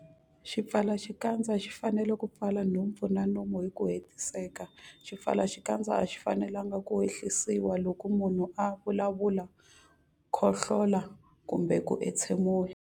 Xipfalaxikandza xi fanele ku pfala nhompfu na nomo hi ku hetiseka. Swipfalaxikandza a swi fanelanga ku ehlisiwa loko munhu a vulavula, khohlola kumbe ku entshemula.